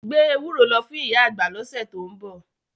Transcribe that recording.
Gbé ewúro lọ fún ìyá àgbà lọ́sẹ̀ tó ń bọ̀.